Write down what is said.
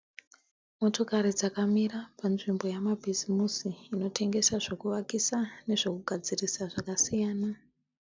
Motokari dzakamira panzvimbo yamabhizimusi inotengesa zvekuvakisa nezvekugadzirisa zvakasiyana.